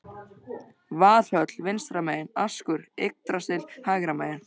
Valhöll vinstra megin, askur Yggdrasils hægra megin.